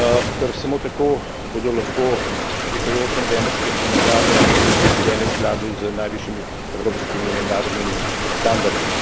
ker samo tako bodo lahko prihajajoče novembrske parlamentarne volitve izvedene v skladu z najvišjimi evropskimi in mednarodnimi standardi.